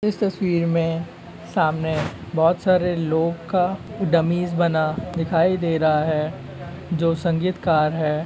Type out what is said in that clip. इस तस्वीर में सामने बहुत सारे लोग का डम्मीस बना दिखाई दे रहा है जो संगीतकार है।